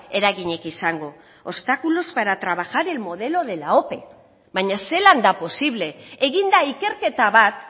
eraginik izango obstáculos para trabajar el modelo de la ope baina zelan da posible egin da ikerketa bat